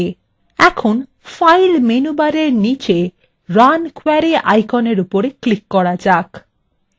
এখন file menu bar নিচে run query আইকনের উপর click করা যাক